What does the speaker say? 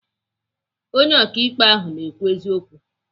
Onye ọkaikpe ahụ na-ekwu eziokwu.